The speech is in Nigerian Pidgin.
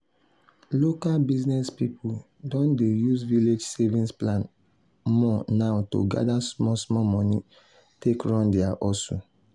local business people don dey use village savings plan more now to gather small small money take run their hustle.